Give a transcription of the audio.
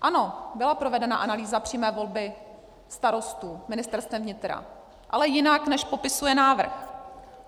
Ano, byla provedena analýza přímé volby starostů Ministerstvem vnitra, ale jinak, než popisuje návrh.